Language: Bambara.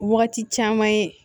Wagati caman ye